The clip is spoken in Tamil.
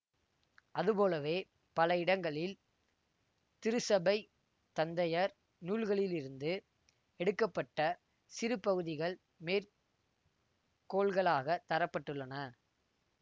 அதுபோலவே பல இடங்களில் திருச்சபைத் தந்தையர் நூல்களிலிருந்து எடுக்க பட்ட சிறு பகுதிகள் மேற் கோள்களாகத் தர பட்டுள்ளன